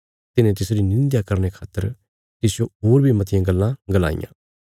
तिन्हे तिसरी निंध्या करने खातर तिसजो होर बी मतियां गल्लां गलाईयां